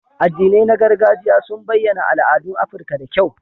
Addinai na gargajiya sun bayyana al'adun Afirka da kyau.